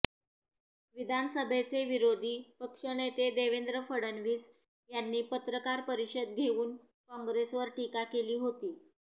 विधानसभेचे विरोधी पक्षनेते देवेंद्र फडणवीस यांनी पत्रकार परिषद घेऊन काँग्रेसवर टीका केली होती